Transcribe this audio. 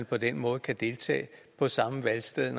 på den måde kan deltage på samme valgsted